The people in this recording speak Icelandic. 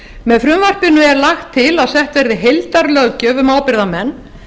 með frumvarpinu er lagt til að sett verði heildarlöggjöf um ábyrgðarmenn